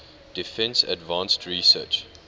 defense advanced research